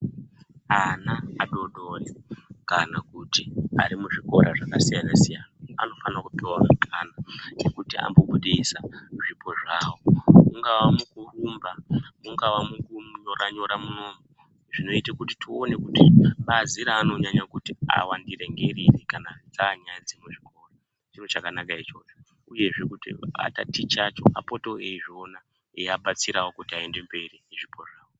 Ana adodori kana kuti ana ari muzvikora zvakasiyana siyana anofanirwe kupuwe mikana yekuti vambobudise zvipo zvavo. Mungaa mukurumba mungaa mukunyora nyora munomu teiona kuti bazi raanonyanya kuti awandira ngeriri kana dzaanyaya dzemuchikora zvakabaakwa izvozvo yezve atatichisi acho apotewo achizviona eiabatsirawo kuti vaende mberi nezvipo zvavo.